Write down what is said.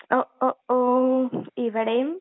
ഒ..ഒ ...ഓ..ഇവിടെയും..